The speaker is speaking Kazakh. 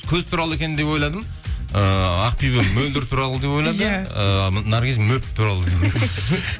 көз туралы екен деп ойладым ііі ақбибі мөлдір туралы деп ойлады иә ыыы наргиз